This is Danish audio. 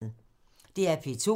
DR P2